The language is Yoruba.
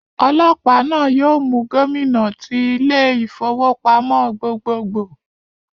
Ọlọ́pàá náà yóò mú Gómìnà tí ilé ìfowópamọ́ gbogbogbò